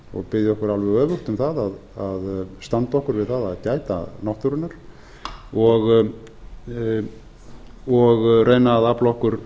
og biðja okkur alveg öfugt um að standa okkur við að gæta náttúrunnar og reyna að afla okkur